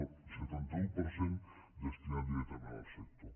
no el setanta un per cent destinat directament al sector